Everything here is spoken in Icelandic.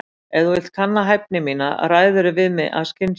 Ef þú vilt kanna hæfni mína ræðirðu við mig af skynsemi.